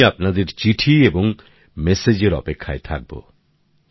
আমি আপনাদের চিঠি এবং মেসেজের অপেক্ষায় থাকবো